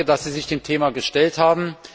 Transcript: Danke, dass Sie sich dem Thema gestellt haben.